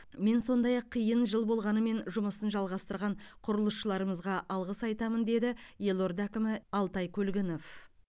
мен сондай ақ қиын жыл болғанымен жұмысын жалғастырған құрылысшыларымызға алғыс айтамын деді елорда әкімі алтай көлгінов